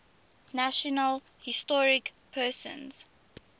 national historic persons